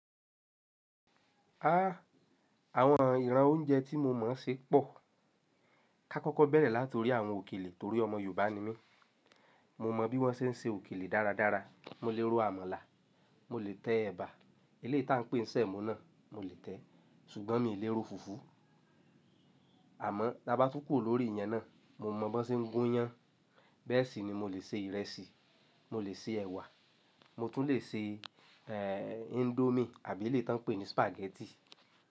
Ha! Àwọn ìran oúnjẹ tí mo mọ̀ se pọ̀. Ká kọ́kọ́ bẹ̀rẹ̀ láti orí àwọn òkèlè torí ọmọ Yorùbá ni mí. Mo mọ bí wọ́n se ń se òkèlè dáradára. Mo lè ro àmàlà, mo lè tẹ ẹ̀bà, eléyìí tá ń pè n sèmó náà mo lè tẹ. Ṣùgbọ́n mi i lè ro fùfú. Àmọ́ ta bá tú kù o lórí ìyẹn náà mo mọ bọn ṣe ń gún iyán. Bẹ́ẹ̀ sì ni mo lè se ìrẹsì, mo lè se ẹ̀wà, mo tún lè se Indomie àbí eléyìí tán pè ní Spaghetti.